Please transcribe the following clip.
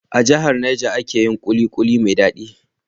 A jahar Niger ake yin kulikuli mai dadi